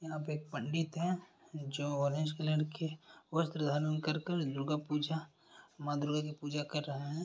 यहां पे एक पंडित है जो ऑरेंज कलर के वस्त्र धारण कर कर दुर्गा पुजा माँ दुर्गा की पूजा कर रहे हे।